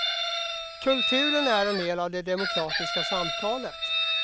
Kulturen är en del av det demokratiska samtalet.